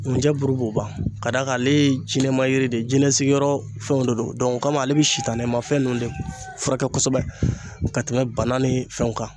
Nkunjɛ bulu b'o ban ka d'a kan ale ye jinɛma yiri de ye , jinɛsigiyɔrɔ fɛnw de don o kama ale bɛ sitanɛmafɛn ninnu de furakɛ kosɛbɛ ka tɛmɛ bana ni fɛnw kan.